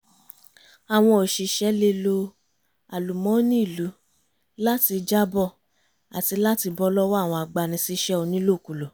àwọn òṣìṣẹ́ lè lo àlùmọ́nì ìlú láti jábọ̀ àti láti bọ́ lọ́wọ́ àwọn agbani síṣẹ́ onílòkulò